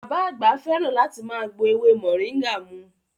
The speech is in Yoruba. Bàbá àgbà fẹ́ràn láti máa gbo ewé moringa mu